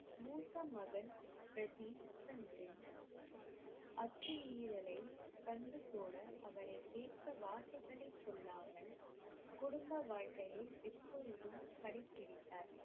மூத்த மகன் பிரதீப் சந்தின் அத்துமீறலைக் கண்டு கூட அவரைக் கேட்க வார்த்தைகளைச் சொல்லாமல் குடும்ப வாழ்க்கையை எப்பொழுதும் கடைப்பிடித்தார்.